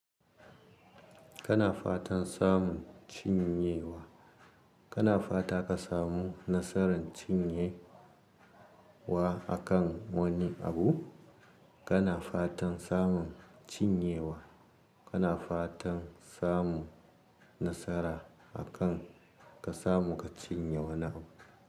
Kana fatan samun cinyewa, kana fata ka samu nasaran cinyewa akan wani abu, kana fatan samun cinyewa, kana fatan samu nasara akan ka samu ka cinye wani abu.